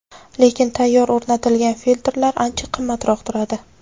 Lekin tayyor o‘rnatilgan filtrlar ancha qimmatroq turadi.